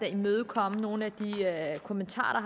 imødekommet nogle af de kommentarer